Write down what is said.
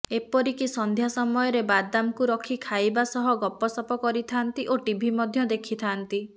ଏପରିକି ସନ୍ଧ୍ୟା ସମୟରେ ବାଦାମକୁ ରଖି ଖାଇବା ସହ ଗପସପ କରିଥାଆନ୍ତି ଓ ଟିଭି ମଧ୍ୟ ଦେଖିଥାଆନ୍ତି